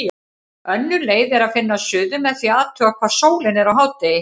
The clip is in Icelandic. Önnur leið er að finna suður með því að athuga hvar sólin er á hádegi.